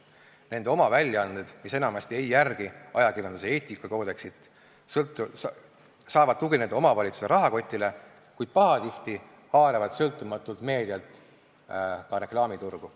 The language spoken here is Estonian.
Nende oma väljaanded, mis enamasti ei järgi ajakirjanduse eetikakoodeksit, saavad tugineda omavalitsuse rahakotile, kuid pahatihti haaravad sõltumatult meedialt ka reklaamiturgu.